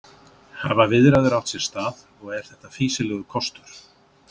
Hafa viðræður átt sér stað og er þetta fýsilegur kostur?